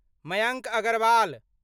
Mayank Agarwal